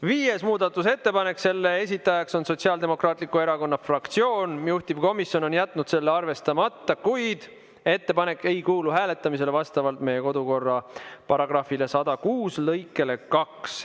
Viies muudatusettepanek, selle esitaja on Sotsiaaldemokraatliku Erakonna fraktsioon, juhtivkomisjon on jätnud selle arvestamata, kuid ettepanek ei kuulu hääletamisele vastavalt meie kodukorra § 106 lõikele 2.